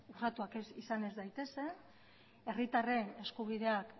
urratuak izan ez daitezen herritarren eskubideak